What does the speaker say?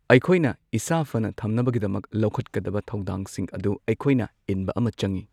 ꯑꯩꯈꯣꯏꯅ ꯏꯁꯥ ꯐꯅ ꯊꯝꯅꯕꯒꯤꯗꯃꯛ ꯊꯧꯗꯥꯡꯁꯤꯡ ꯑꯗꯨ ꯑꯩꯈꯣꯏꯅ ꯏꯟꯕ ꯑꯃ ꯆꯪꯉꯤ꯫